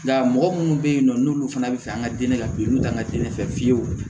Nka mɔgɔ munnu be yen nɔ n'olu fana be fɛ an ka den ka piri n'u ka nan te ne fɛ fiyewu